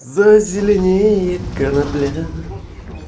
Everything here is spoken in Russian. зазеленеет конопля